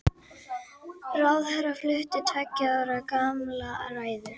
Það hefur verið í greiðslustöðvun síðan í júní í fyrra.